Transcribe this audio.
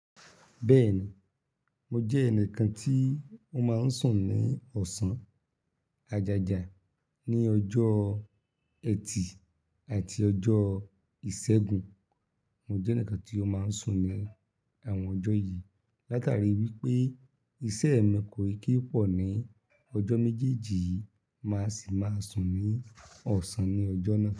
Bẹ́ẹ̀ni, mo jẹ́ ẹnìkan tí ó máa ń sùn ní ọ̀sán, ajaja, ní ọjọ́ ẹtì àti ọjọ́ ìṣẹ́gun. Mo jẹ́ ẹnìkan tí ó máa ń sùn ní àwọn ọjọ́ yìí látàrí wípé iṣẹ́ mi kò n kin pọ̀ ní ọjọ́ méjèèjì yìí, màá sì máa sùn ní ọ̀sán ní ọjọ́ náà.